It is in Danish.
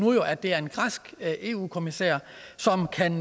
at det er en græsk eu kommissær som kan